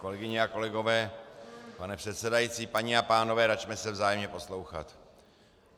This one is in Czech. Kolegyně a kolegové, pane předsedající, paní a pánové, račme se vzájemně poslouchat.